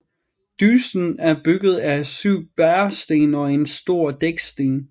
Dyssen er bygget af 7 bæresten og en stor dæksten